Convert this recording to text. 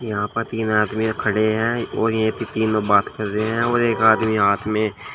यहां पर तीन आदमीया खड़े हैं और यही पे तीनो बात कर रहे हैं और एक आदमी हाथ में--